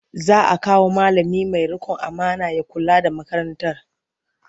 Za a kawo malami mai riƙon amana ya kula da makarantar.